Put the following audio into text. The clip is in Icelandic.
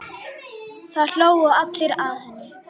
Það hlógu allir að henni.